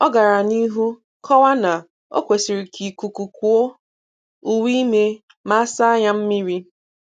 Ọ gara n'ihu kọwaa na o kwesịrị ka ikuku kuo uwe ime ma a saa ya mmiri